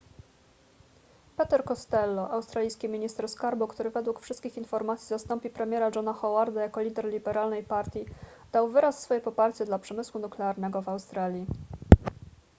peter costello australijski minister skarbu który według wszystkich informacji zastąpi premiera johna howarda jako lider liberalnej partii dał wyraz swoje poparcie dla przemysłu nuklearnego w australii